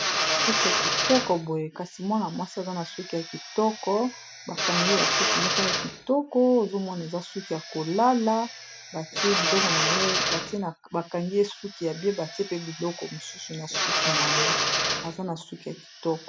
suki ya kitoko boye kasi mwana-mwasi aza na suki ya kitoko bakangi ye basuki moko ya kitoko ozomona eza suki ya kolala batie biloko na ye atie bakangi ye suki ya bie batie pe biloko mosusu na suki na ye aza na suki ya kitoko